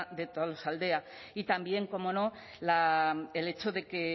de tolosaldea y también cómo no el hecho de que